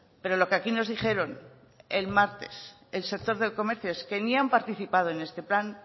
pero lo que aquí nos dijeron el martes el sector del comercio es que ni han participado en este plan